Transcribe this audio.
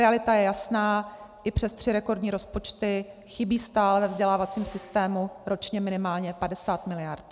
Realita je jasná, i přes tři rekordní rozpočty chybí stále ve vzdělávacím systému ročně minimálně 50 miliard.